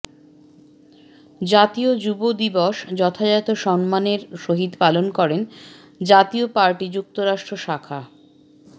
জাতীয় যুব দিবস যথাযথ সম্মানের সহিত পালন করেন জাতীয় পার্টি যুক্তরাষ্ট্র শাখা